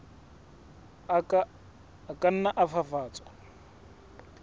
a ka nna a fafatswa